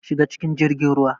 Shiga cikin jirgin ruwa.